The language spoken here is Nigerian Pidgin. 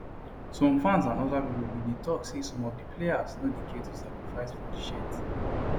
some fans and oda pipo bin dey tok say some of di players no dey care to sacrifice for di shirt